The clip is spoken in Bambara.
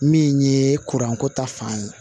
Min ye kuranko ta fan ye